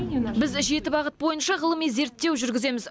біз жеті бағыт бойынша ғылыми зерттеу жүргіземіз